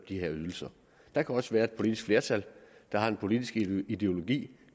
de ydelser der kan også være et politisk flertal der har en politisk ideologi